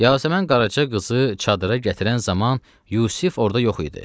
Yasəmən qaraçı qızı çadıra gətirən zaman Yusif orada yox idi.